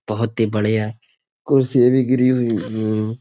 बहुत ही बढ़िया कुर्सी भी गिरी हुई ह्म्म